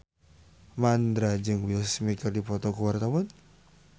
Mandra jeung Will Smith keur dipoto ku wartawan